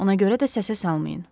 Ona görə də səsə salmayın.